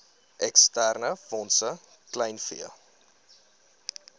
eksterne fondse kleinvee